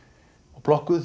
og plokkuð